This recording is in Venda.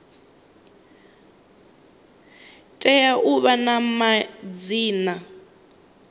tea u vha na madzina